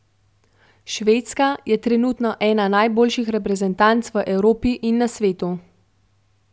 Švedska je trenutno ena najboljših reprezentanc v Evropi in na svetu.